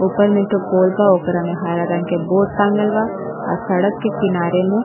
ऊपर में एक ठो पोल बा ओकरा में हरा रंग के बोर्ड टाँगल बा। आ सड़क के किनारे में --